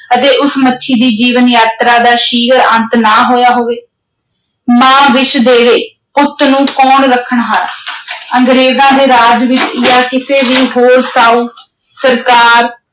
ਅਤੇ ਉਸ ਮੱਛੀ ਦੀ ਜੀਵਨ-ਯਾਤਰਾ ਦਾ ਸ਼ੀਘਰ ਅੰਤ ਨਾ ਹੋਇਆ ਹੋਵੇ, ਮਾਂ ਵਿਸ ਦੇਵੇ ਪੁੱਤ ਨੂੰ ਕੌਣ ਰੱਖਣ ਹਾਰਾ ਅੰਗਰੇਜ਼ਾਂ ਦੇ ਰਾਜ ਵਿਚ ਜਾਂ ਕਿਸੇ ਵੀ ਹੋਰ ਸਾਉ ਸਰਕਾਰ,